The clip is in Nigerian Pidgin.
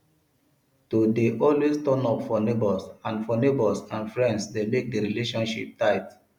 to de always turn up for neighbors and for neighbors and friends de make di relationship tight